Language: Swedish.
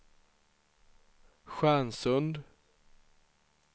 Stjärnsund